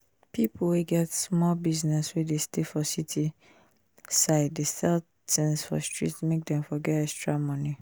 ppipu wey get sumol business wey dey stay for city side dey sell tins for street make dem for get extra money